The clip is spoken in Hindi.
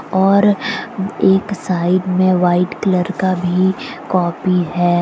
और एक साइड में वाइट कलर का भी कॉपी है।